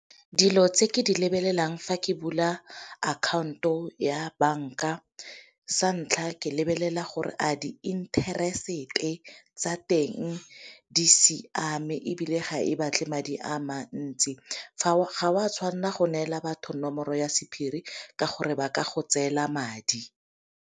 Dilo tse ke di lebelelang fa ke bula akhaonto ya banka sa ntlha ke lebelela gore a di-interest-e tsa teng di siame, ebile ga e batle madi a mantsi ga o a tshwanela go neela batho nomoro ya sephiri ka gore ba ka go tseela madi.